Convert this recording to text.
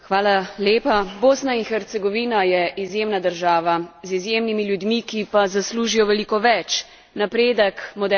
Bosna in Hercegovna je izjemna država z izjemnimi ljudmi, ki pa zaslužijo veliko več napredek, moderno državo.